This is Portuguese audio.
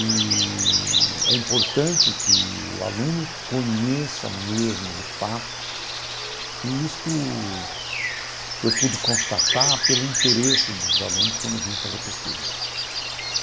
Eee é importante que o aluno conheça mesmo, de fato, e isto eu pude constatar pelo interesse dos alunos quando vinha fazer pesquisa.